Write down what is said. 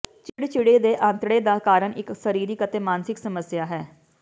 ਚਿੜਚਿੜੇ ਦੇ ਆਂਤੜੇ ਦਾ ਕਾਰਨ ਇੱਕ ਸਰੀਰਕ ਅਤੇ ਮਾਨਸਿਕ ਸਮੱਸਿਆ ਹੈ